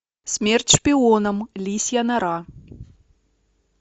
смерть шпионам лисья нора